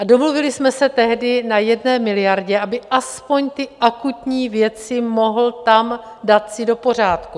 A domluvili jsme se tehdy na 1 miliardě, aby aspoň ty akutní věci mohl tam dát si do pořádku.